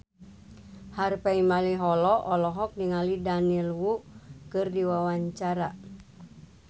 Harvey Malaiholo olohok ningali Daniel Wu keur diwawancara